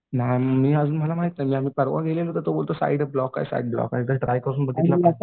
मग मी अजून मला माहिती नाही मी परवा तर तो बोलतो साईट ब्लॉक आहे साईट ब्लॉक आहे एकदा ट्राय करून बघितलं तर